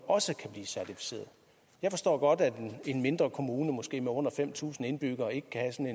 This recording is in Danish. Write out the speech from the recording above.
også kan blive certificeret jeg forstår godt at en mindre kommune med måske under fem tusind indbyggere ikke kan